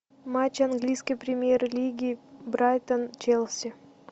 матч английской премьер лиги брайтон челси